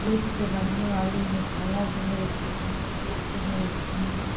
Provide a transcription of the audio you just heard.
दूध से बननी वाली मिठाइयाँ भी मिलती है दूध भी मिलते है।